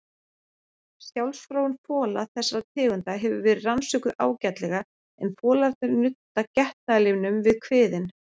Sjálfsfróun fola þessara tegunda hefur verið rannsökuð ágætlega en folarnir nudda getnaðarlimnum við kviðinn.